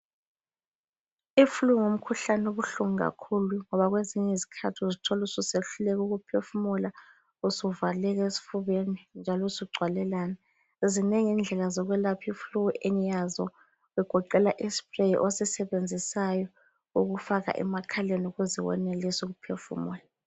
Iflu ngumkhuhlane obuhlungu kakhulu ngoba kwezinyizikhathi uzithola ususehluleka ukuphefumula usuvaleka esifubeni njalo usugcwalelana. Zinengi indlela zokwelapha iflu engiyazo kugoqela ispray osisebenzisayo ukuze ufake emakhaleni wenelise ukuphefumula.